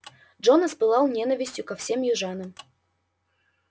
джонас пылал ненавистью ко всем южанам